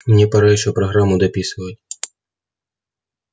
мне пора ещё программу дописывать